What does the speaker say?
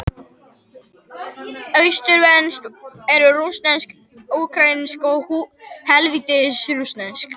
Austurslavnesk eru: rússneska, úkraínska og hvítrússneska.